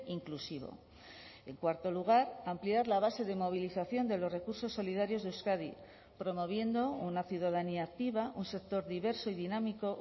inclusivo en cuarto lugar ampliar la base de movilización de los recursos solidarios de euskadi promoviendo una ciudadanía activa un sector diverso y dinámico